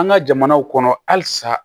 An ka jamanaw kɔnɔ halisa